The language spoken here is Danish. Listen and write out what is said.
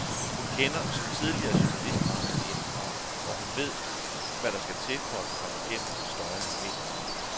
Hun kender, som tidligere journalist, branchen indefra og ved hvad der skal til for at komme gennem den støjende mediemur.